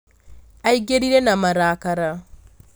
Aingĩrire na marakara